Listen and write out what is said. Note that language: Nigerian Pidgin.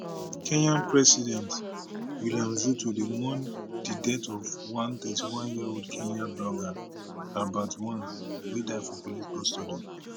kenya president williams ruto dey mourn di death of one thirthy one yearold kenyan blogger albert ojwang wey die for police custody